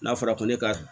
N'a fɔra ko ne ka